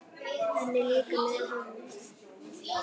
Hann er líka með HANA!